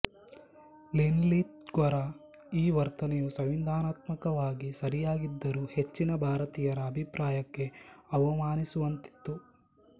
ಲಿನ್ಲಿತ್ಗೊರ ಈ ವರ್ತನೆಯು ಸಂವಿಧಾನಾತ್ಮಕವಾಗಿ ಸರಿಯಾಗಿದ್ದರೂ ಹೆಚ್ಚಿನ ಭಾರತೀಯರ ಅಭಿಪ್ರಾಯಕ್ಕೆ ಅವಮಾನಿಸುವಂತಿತ್ತು